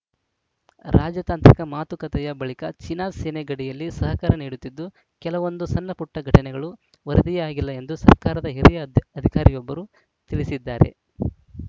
ರಾಜತಾಂತ್ರಿಕ ಮಾತುಕತೆಯ ಬಳಿಕ ಚೀನಾ ಸೇನೆ ಗಡಿಯಲ್ಲಿ ಸಹಕರ ನೀಡುತ್ತಿದ್ದು ಕೆಲವೊಂದು ಸಣ್ಣಪುಟ್ಟಘಟನೆಗಳು ವರದಿಯೇ ಆಗಿಲ್ಲ ಎಂದು ಸರ್ಕಾರದ ಹಿರಿಯ ಅಧಿಕಾರಿಯೊಬ್ಬರು ತಿಳಿಸಿದ್ದಾರೆ